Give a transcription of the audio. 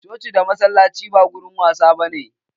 Coci da masallaci ba wurin wasa ba ne.